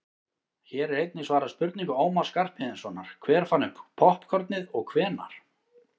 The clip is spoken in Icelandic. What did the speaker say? hér er einnig svarað spurningu ómars skarphéðinssonar „hver fann upp poppkornið og hvenær“